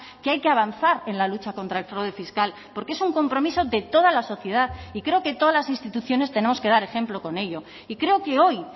que hay que avanzar en la lucha contra el fraude fiscal porque es un compromiso de toda la sociedad y creo que todas las instituciones tenemos que dar ejemplo con ello y creo que hoy